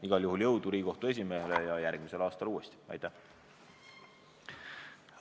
Igal juhul jõudu Riigikohtu esimehele ja järgmisel aastal uuesti!